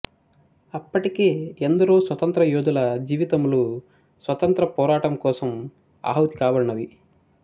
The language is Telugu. అప్పటికే ఎందరో స్వతంత్రయోధుల జీవితములు స్వతంత్ర పోరాటముకోసము ఆహుతి కాబడినవి